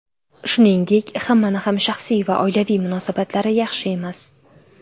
Shuningdek, hammani ham shaxsiy va oilaviy munosabatlari yaxshi emas.